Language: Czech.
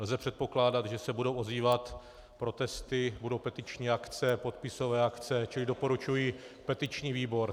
Lze předpokládat, že se budou ozývat protesty, budou petiční akce, podpisové akce, čili doporučuji petiční výbor.